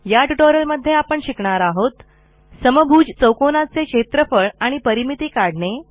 या ट्युटोरियलमध्ये आपण शिकणार आहोत समभुज चौकोनाचे क्षेत्रफळ आणि परिमिती काढणे